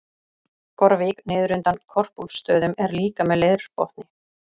Gorvík niður undan Korpúlfsstöðum er líka með leirbotni.